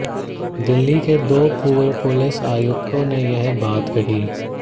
दिल्ली के दो पूर्व पुलिस आयुक्तों ने यह बात कही